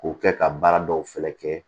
K'o kɛ ka baara dɔw fɛnɛ kɛ